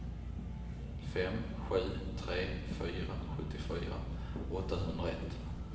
fem sju tre fyra sjuttiofyra åttahundraett